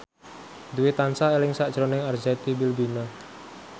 Dwi tansah eling sakjroning Arzetti Bilbina